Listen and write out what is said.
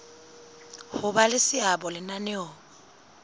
ho ba le seabo lenaneong